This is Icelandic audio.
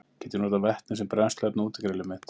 Get ég notað vetni sem brennsluefni á útigrillið mitt?